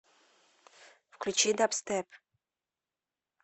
включи дабстеп